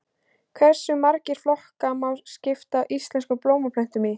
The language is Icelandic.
Hversu marga flokka má skipta íslenskum blómplöntum í?